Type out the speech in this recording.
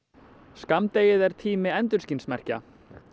skammdegið er tími endurskinsmerkja